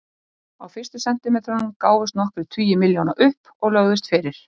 Á fyrstu sentimetrunum gáfust nokkrir tugir milljóna upp og lögðust fyrir.